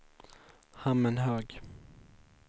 Hammenhög